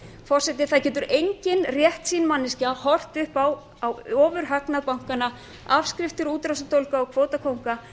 forseti það getur engin réttsýn manneskja horft upp á ofurhagnað bankanna afskriftir útrásardólga og kvótakónga